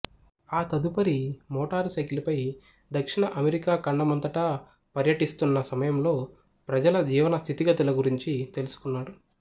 ఆ తదుపరి motorcycle పై దక్షిణ అమెరికా ఖండమంతటా పర్యటిస్తున్న సమయంలో ప్రజల జీవన స్థితిగతుల గురించి తెలుసుకున్నాడు